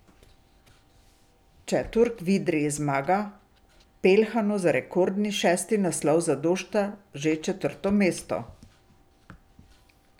Če Turk v Idriji zmaga, Peljhanu za rekordni šesti naslov zadošča že četrto mesto.